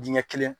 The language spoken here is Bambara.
Dingɛ kelen